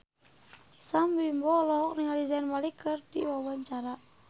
Sam Bimbo olohok ningali Zayn Malik keur diwawancara